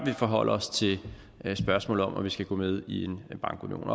forholder os til spørgsmålet om om vi skal gå med i bankunionen